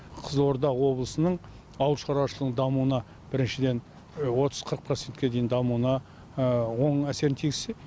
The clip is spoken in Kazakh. қызылорда облысының ауыл шаруашылығының дамуына біріншіден отыз қырық процентке дейін дамуына оң әсерін тигізсе